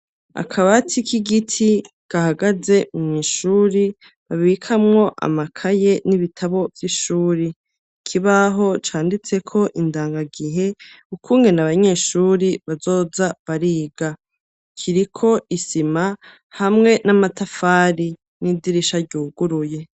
Akabati k'igiti kahagaze mu mw'ishuri babikamwo amakaye n'ibitabo vy'ishuri kibaho canditse ko indangagihe ry'ukungene abanyeshuri bazoza bariga kiriko isima hamwe n'amatafari n'idirisha ryuguruye.